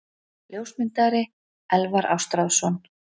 Ljósmyndari: Elvar Ástráðsson.